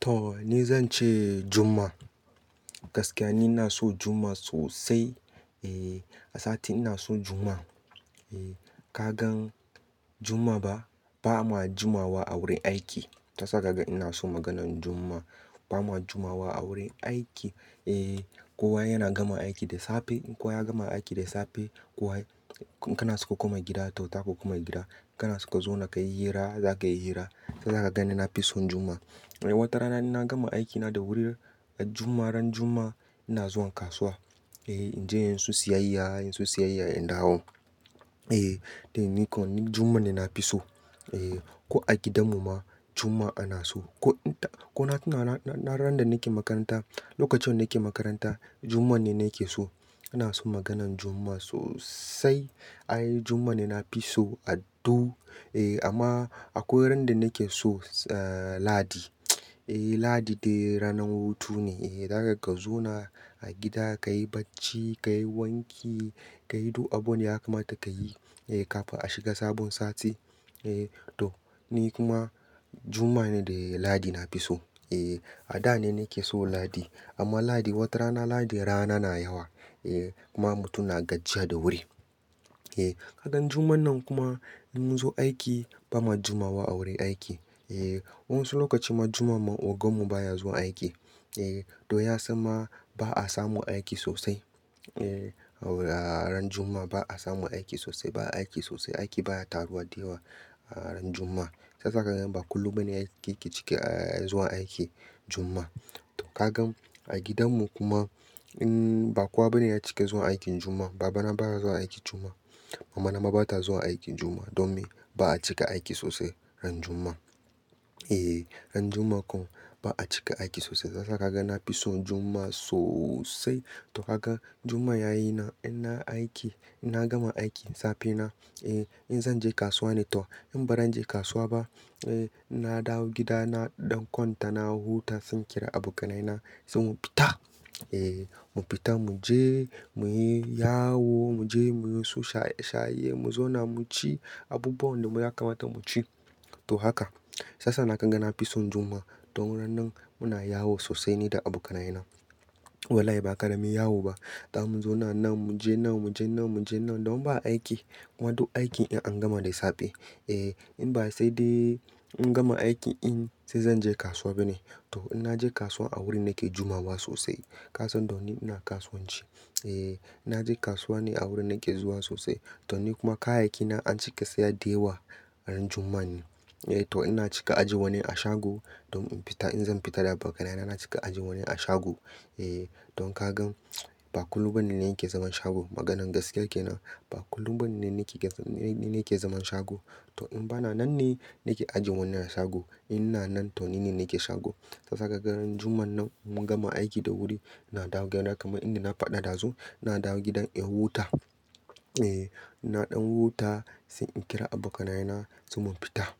To! Ni zan ce Juma'a. Gaskiya ni ina son Juma'a sosai. Eh, a sati ina so Juma'a. Eh ka gan Juma'a ba, ba ma Jumawa a wurin aiki. Shiyasa ka gan ina son maganan Juma'a. Ba ma Jumawa a wurin aiki. Eh, kowa yana gama aiki da safe. In kowa ya gama aiki da safe, kowa-- in kana so ka koma gida. To! Zaka koma gida, in kana so ka zauna ka yi hira, zaka yi hira. Shiyasa ka gan ni na fi son Juma'a. Eh, watarana ni na gama aikina da wuri, a Juma'a ran Juma'a ina zuwa kasuwa. Eh, in je yin su siyayya, inyin su siyayya in dawo. Eh, dai niko ni Juma'a ne na fi so. Eh, ko a gidan mu ma Juma'a ana so. Ko in ta-- ko na, na, na, na, na randan nake makaranta, lokacin nake makaranta Juma'a ne na ke so. Ina so maganan Juma'a sosai. Ai Juma'a ne na fi so a du. Eh, amma akwai ran da nake so, eh, Ladi. Eh, Ladi dai ranar hutu ne. Eh, zaka ka zauna a gida, ka yi bacci, ka yi wanki, ka yi duk abun da ya kamata ka yi. Eh, kafin a shiga sabon sati. Eh to! Ni kuma Juma'a ne da Ladi na fi so. Eh, a da ne nake so Ladi. Amma Ladi watarana Ladi rana na yawa. Eh, kuma mutum na gajiya da wuri. Eh, idan Juma'an nan kuma in mun zo aiki ba ma Jumawa a wurin aiki. Eh, wasu lokaci ma Juma'a ogan mu baya zuwa aiki. Eh, to ya za ma ba a samun aiki sosai. Eh, a ran Juma'a ba a samu aiki sosai. Ba a aiki sosai, aiki baya taruwa da yawa a ran Juma'a. Shiyasa ka gan ba kullum bane aka ki cika, eh, zuwa aiki Juma'a. To ka gan a gidan mu kuma in ba kowa bane ya cia zuwa aikin Juma'a. Baba na baya zuwa aiki Juma'a. Mama na ma bata zuwa aiki Juma'a. Don me? Ba a cika aiki sosai ran Juma'a. Eh, ran Juma'a ko ba a cika aiki sosai. Shiyasa kaga na fi son Juma'a sosai. To ka gan Juma'a ya yi na, in na aiki, in na gama aiki safe na, eh, in zan je kasuwa ne to in ba zan je kasuwa ba, eh, in na dawo gida na ɗan kwanta na huta, sai in kira abokanaye na sai mu fita. Eh, mu fita mu je muyi yawo, mu je muyi su shaye, shaye mu zauna mu ci abubuwan da mu ya kamata mu ci. To haka! Shiyasa nan kaga ni na fi son Juma'a. Don ran nan muna yawo sosai ni da abokanaye na. Wallahi ba karamin yawo ba. Za mun zauna nan, mu je nan, mu je nan, mu je nan don ba aiki. Kuma duk aikin in an gama da safe. Eh, in ba sai dai in gama aiki, in sai zan je kasuwa bane. To! In na je kasuwa a wurin nake Jumawa sosai. Ka san don ni ina kasuwanci. Eh, ina je kasuwa ne a wurin nake zuwa sosai. To ni kuma kayayyaki na an cika saya da yawa ran Juma'a ne. Eh to! Ina cika aje wani a shago don in fita. In zan fita da abokanaye na ina cika ajie wani a shago. Eh, don ka gan ba kullum bane na yake zaman shago. Maganan gaskiya ke nan. Ba kullum bane nake ke, ni ne ke zaman shago. To in ba na nan ne nake ajiye wani a shago. In na nan to ni ne nake shago. Shiyasa ka gan ran Juma'a nan in mun gama aiki da wuri, ina dawo gida kamar inda na faɗa ɗazu. Na dawo gidan in huta. Eh, in na ɗan huta sai in kira abokanaye na sai mu fita.